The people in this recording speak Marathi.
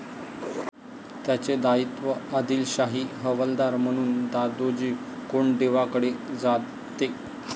त्याचे दायित्व आदिलशाही हवालदार म्हणून दादोजी कोंडदेवांकडे जाते.